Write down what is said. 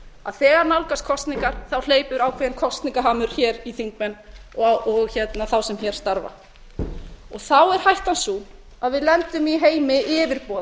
að þegar nálgast kosningar hleypur ákveðinn kosningahamur hér í þingmenn og þá sem hér starfa þá er hættan sú að við lendum í heimi